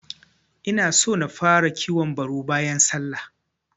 Inaso na fara kiwon baru bayan sallah.